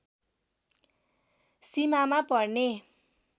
सीमामा पर्ने